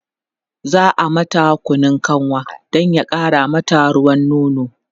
za'a mata Kunun kanwa Dan ya ƙara mata ruwan nono